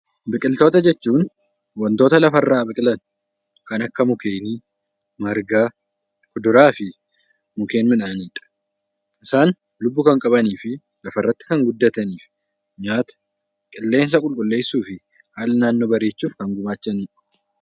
Biqiltoota jechuun wantoota lafarraa biqilan kan akka mukkeenii, margaa, kuduraa fi muduraaleedha. Isaan lubbu kan qabanii fi lafarratti kan guddatanii fi qileensa qulqulleessuu fi haala naannoo gumaachuuf kan oolanidha.